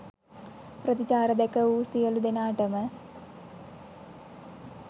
ප්‍රතිචාර දැකවූ සියළු දෙනාටම